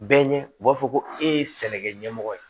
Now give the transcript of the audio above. Bɛɛ ɲɛ u b'a fɔ ko e ye sɛnɛkɛ ɲɛmɔgɔ ye